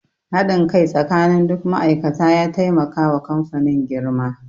Haɗin kai tsakanin duk ma'aikata ya taimaka wa kamfanin girma.